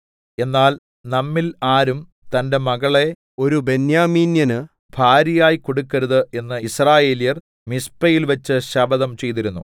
എന്നാൽ നമ്മിൽ ആരും തന്റെ മകളെ ഒരു ബെന്യാമീന്യന് ഭാര്യയായി കൊടുക്കരുത് എന്ന് യിസ്രായേല്യർ മിസ്പയിൽവെച്ച് ശപഥം ചെയ്തിരുന്നു